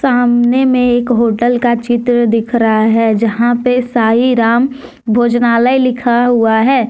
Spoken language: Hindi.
सामने में एक होटल का चित्र दिख रहा है जहां पे साई राम भोजनालय लिखा हुआ है।